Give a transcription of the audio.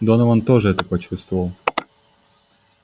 донован тоже это почувствовал